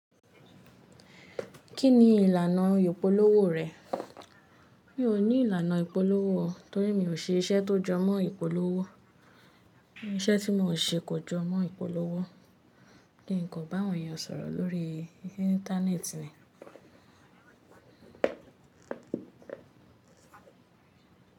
Kí ni ìlànà ìpolówó rẹ̀? Mi ò ní ìlànà ìpolówó o. Torí mi ò ṣe iṣẹ́ tó jọmọ́ ìpolówó. Ìṣẹ́ tí mò ń ṣe kò jọmọ́ ìpolówó. Kìì kàn bá àwọn èèyàn sọ̀rọ̀ lórí Íńtánéètì ni.